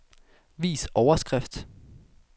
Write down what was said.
Vis overskrift.